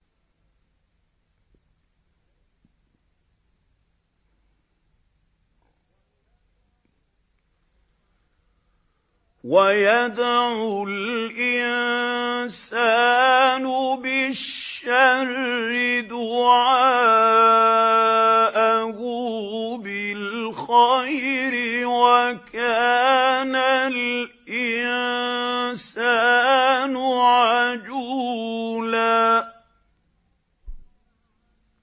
وَيَدْعُ الْإِنسَانُ بِالشَّرِّ دُعَاءَهُ بِالْخَيْرِ ۖ وَكَانَ الْإِنسَانُ عَجُولًا